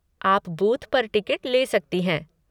आप बूथ पर टिकट ले सकती हैं।